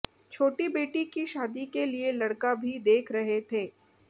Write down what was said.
छोटी बेटी की शादी के लिए लड़का भी देख रहे थे